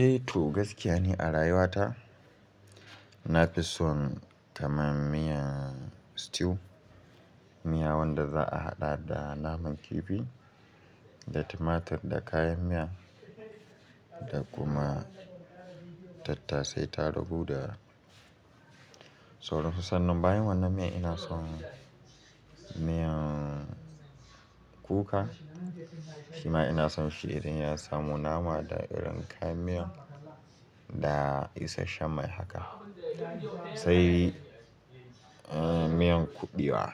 Eh to gaskiya ne a rayuwa ta na fi son kaman miyan stew. Miya wanda za a haɗa da naman kifi da timatir da kayan miya da kuma tattasai, tarugu da sauran su. Sannan bayan wannan miya ina son miyan kuka shima ina son shi idan ya samu nama da irin kayan miya da isasshen mai haka. Sai eh miyan kuɓewa,